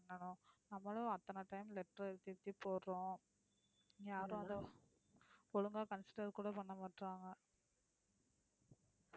பண்ணனும் நம்மளும் அத்தனை time letter எழுதி எழுதி போடுறோம் ஒழுங்கா consider கூட பண்ணமாட்றாங்க.